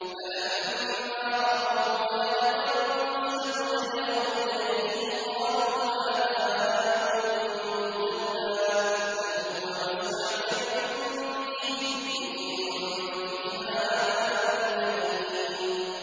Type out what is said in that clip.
فَلَمَّا رَأَوْهُ عَارِضًا مُّسْتَقْبِلَ أَوْدِيَتِهِمْ قَالُوا هَٰذَا عَارِضٌ مُّمْطِرُنَا ۚ بَلْ هُوَ مَا اسْتَعْجَلْتُم بِهِ ۖ رِيحٌ فِيهَا عَذَابٌ أَلِيمٌ